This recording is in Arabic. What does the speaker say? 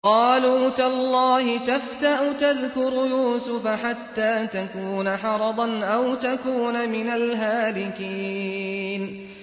قَالُوا تَاللَّهِ تَفْتَأُ تَذْكُرُ يُوسُفَ حَتَّىٰ تَكُونَ حَرَضًا أَوْ تَكُونَ مِنَ الْهَالِكِينَ